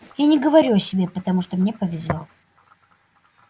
я не говорю о себе потому что мне повезло